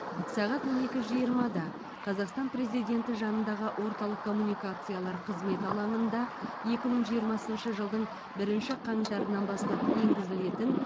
сағат он екі жиырмада қазақстан президенті жанындағы орталық коммуникациялар қызметі алаңында екі мың жиырмасыншы жылдың бірінші қаңтарынан бастап енгізілетін